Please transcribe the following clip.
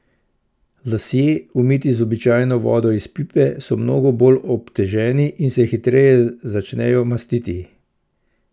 Lasje, umiti z običajno vodo iz pipe, so mnogo bolj obteženi in se hitreje začnejo mastiti.